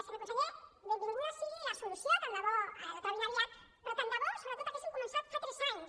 senyor conseller benvinguda sigui la solució tant de bo la trobin aviat però tant de bo sobretot haguessin començat fa tres anys